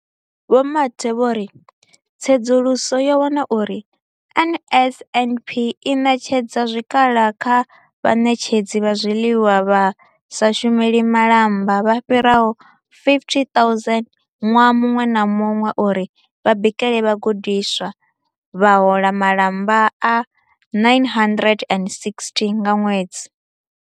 Vho Mathe vho ri tsedzuluso yo wana uri NSNP i ṋetshedza zwikhala kha vhaṋetshedzi vha zwiḽiwa vha sa shumeli malamba vha fhiraho 50 000 ṅwaha muṅwe na muṅwe uri vha bikele vhagudiswa, vha hola malamba a R960 nga ṅwedzi.